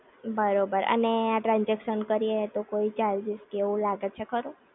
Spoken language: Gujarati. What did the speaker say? બરોબર અને આ ટ્રાનજેક્શન કરી એ તો કોઈ ચાર્જિસ કે એવું લાગે છે ખરું?